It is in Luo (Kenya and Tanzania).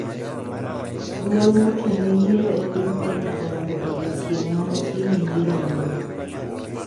Duol mochung`ne yiero e piny Kenya olando odiochieng` manotime yiero manyien.